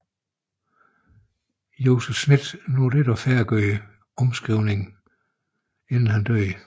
Joseph Smith nåede ikke at færdiggøre omskrivningen inden han døde